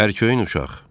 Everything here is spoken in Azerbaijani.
Ərkoyun uşaq.